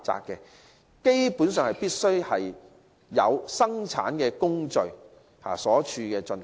基本上，條款規定必須有生產工序在處所進行。